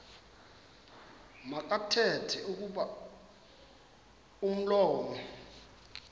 makathethe kuba umlomo